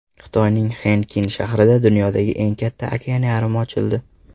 Xitoyning Xenkin shahrida dunyodagi eng katta okeanarium ochildi.